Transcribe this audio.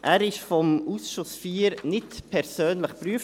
Er wurde vom Ausschuss IV nicht persönlich geprüft.